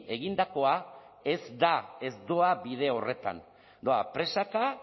egindakoa ez da ez doa bide horretan doa presaka